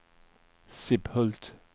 Sibbhult